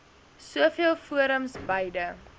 soveel forums beide